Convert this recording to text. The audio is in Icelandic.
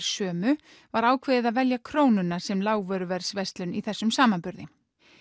sömu var ákveðið að velja Krónuna sem lágvöruverðsverslun í þessum samanburði